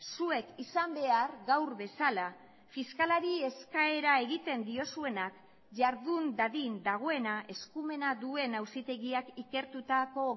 zuek izan behar gaur bezala fiskalari eskaera egiten diozuenak jardun dadin dagoena eskumena duen auzitegiak ikertutako